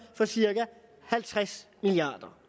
for cirka halvtreds milliard